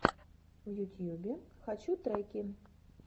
в ютьюбе хочу треки